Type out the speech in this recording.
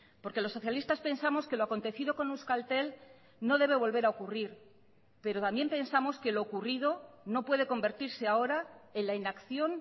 porque los socialistas pensamos que lo acontecido con euskaltel no debe volver a ocurrir pero también pensamos que lo ocurrido no puede convertirse ahora en la inacción